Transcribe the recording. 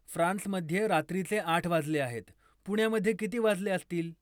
फ्रान्समध्ये रात्रीचे आठ वाजले आहेत, पुण्यामध्ये किती वाजले असतील?